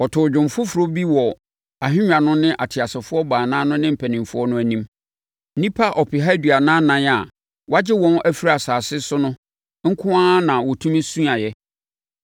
Wɔtoo dwom foforɔ bi wɔ ahennwa no ne ateasefoɔ baanan no ne mpanimfoɔ no anim. Nnipa ɔpeha aduanan ɛnan a wɔagye wɔn afiri asase so no nko ara na wɔtumi suaeɛ.